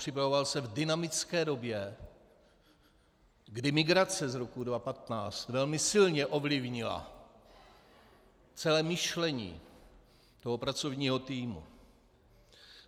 Připravoval se v dynamické době, kdy migrace z roku 2015 velmi silně ovlivnila celé myšlení toho pracovního týmu.